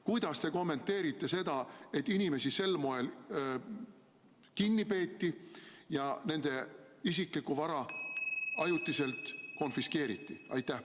Kuidas te kommenteerite seda, et inimesi sel moel kinni peeti ja nende isiklikku vara ajutiselt konfiskeeriti?